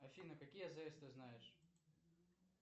афина какие азс ты знаешь